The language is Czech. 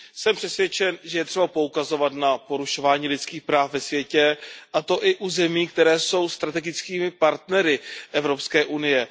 Jsem přesvědčen, že je třeba poukazovat na porušování lidských práv ve světě, a to i u zemí, které jsou strategickými partnery Evropské unie.